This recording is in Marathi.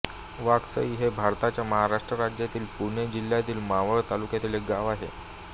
वाकसई हे भारताच्या महाराष्ट्र राज्यातील पुणे जिल्ह्यातील मावळ तालुक्यातील एक गाव आहे